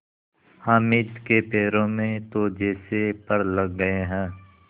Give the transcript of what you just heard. हामिद के पैरों में तो जैसे पर लग गए हैं